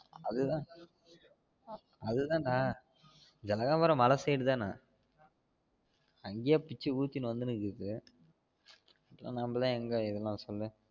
அது தான் அது தான்ட ஜனகாபுரம் மல side தான அங்கயே பிச்சி ஊத்தினு வந்துனு இக்குது இதுல நம்ம எங்க எதனா சொல்ல